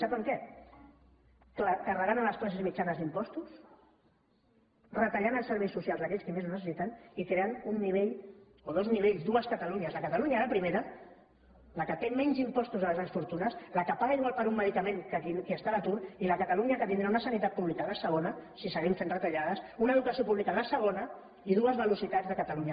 sap en què carregant les classes mitjanes d’impostos retallant els serveis socials d’aquells que més ho necessiten i creant un nivell o dos nivells dues catalunyes la catalunya de primera la que té menys impostos a les grans fortunes la que paga igual per un medicament que qui està a l’atur i la catalunya que tindrà una sanitat pública de segona si seguim fent retallades una educació pública de segona i dues velocitats de catalunya